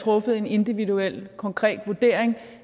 truffet en individuel konkret vurdering